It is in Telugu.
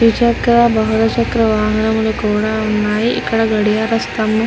ద్విచక్ర వాహనాలు కూడా ఉన్నాయి. ఇక్కడ గడియార స్తంభం --